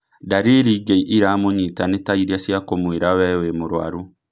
Ndariri ingĩ iramũnyita nĩ tairia cía kũmwĩra wĩ nĩ mũrũaru